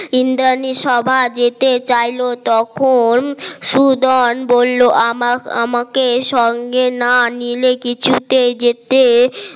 ইন্দ্রানী সভা যেতে চাইলে তখন সুদান বললো আমার আমাকে সঙ্গে না নিলে কিছুতে যেতে